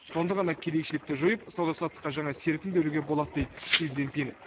сонда ғана кедейшілікті жойып сауда саттыққа жаңа серпін беруге болады дейді си цзиньпин